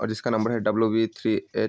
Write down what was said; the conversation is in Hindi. और इसका नंबर है डब्लू बी थ्री एट --